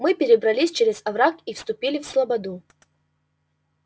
мы перебрались через овраг и вступили в слободу